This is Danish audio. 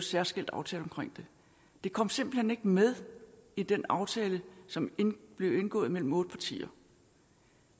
særskilt aftale om det det kom simpelt hen ikke med i den aftale som blev indgået mellem otte partier